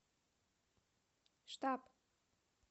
штаб